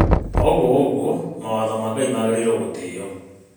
O ũguo ũguo mawatho ma Ngai maagĩrĩrwo gũtĩĩo